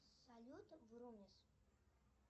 салют врумис